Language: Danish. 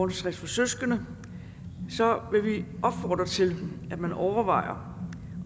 til søskende opfordre til at man overvejer